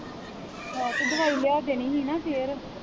ਆਹੋ ਤੇ ਦਵਾਈ ਲਿਆ ਦੇਣੀ ਹੀ ਨਾ ਫਿਰ